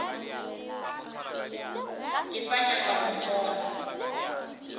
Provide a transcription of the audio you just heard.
ke sa nyaka go mmona